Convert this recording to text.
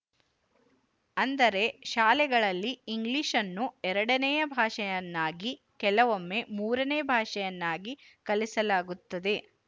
ಅಂದರೆ ಶಾಲೆಗಳಲ್ಲಿ ಇಂಗ್ಲಿಶ್‌ನ್ನು ಎರಡನೆಯ ಭಾಷೆಯನ್ನಾಗಿ ಕೆಲವೊಮ್ಮೆ ಮೂರನೆಯ ಭಾಷೆಯನ್ನಾಗಿ ಕಲಿಸಲಾಗುತ್ತದೆ